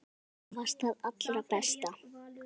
Þú varst það allra besta.